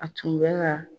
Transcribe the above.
A tun bɛ ka